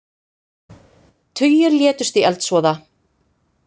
Tugir létust í eldsvoða